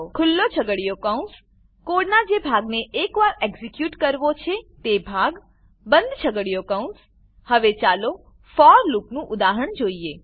ખુલ્લો છગડીયો કૌંસ કોડનાં જે ભાગને એકવાર એક્ઝીક્યુટ કરવો છે તે ભાગ બંધ છગડીયો કૌંસ હવે ચાલો ફોર લૂપનું ઉદાહરણ જોઈએ